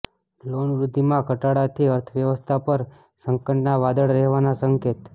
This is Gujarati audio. લોન વૃદ્ધિમાં ઘટાડાથી અર્થવ્યવસ્થા પર સંકટના વાદળ રહેવાના સંકેત